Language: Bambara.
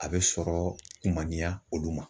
A bɛ sɔrɔ kun man diya olu ma.